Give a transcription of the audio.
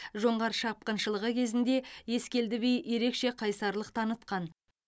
жоңғар шапқыншылығы кезінде ескелді би ерекше қайсарлық танытқан